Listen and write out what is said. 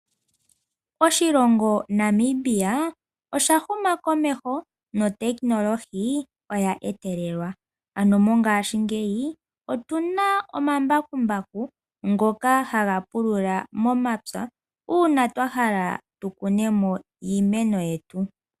Oshilongo Namibia osha huma komeho notechnology oya etelelwa, mongashi ngeyi otuna omambakumbaku ngoka haga pulula momapya uuna twahala tu kune mo iimeno yetu.